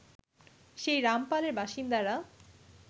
সেই রামপালের বাসিন্দারা